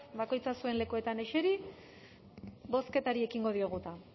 bakoitzak zuen lekuetan eseri bozketari ekingo diogu eta